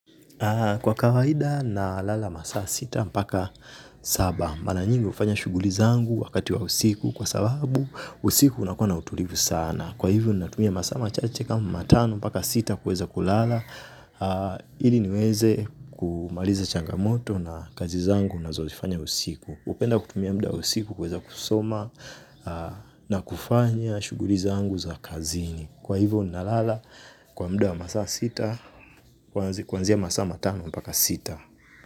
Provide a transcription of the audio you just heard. Kwa kawaida nalala masaa sita, mpaka saba. Mara nyingi hufanya shughuli zangu wakati wa usiku. Kwa sababu, usiku unakuwa utulivu sana. Kwa hivyo, natumia masaa machache kama matano, mpaka sita kuweza kulala. Ili niweze kumaliza changamoto na kazi zangu nazozifanya usiku. Hupenda kutumia muda usiku kuweza kusoma na kufanya shughuli zangu za kazini. Kwa hivyo nalala kwa muda wa masaa sita. Kuanzia masaa matano mpaka sita.